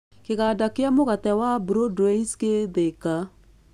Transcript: Kĩganda kĩa mũgate wa broadways gĩ Thika.